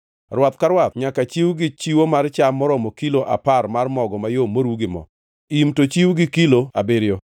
Rwath ka rwath nyaka chiw gi chiwo mar cham maromo kilo apar mar mogo mayom moru gi mo; im to chiw gi kilo abiriyo;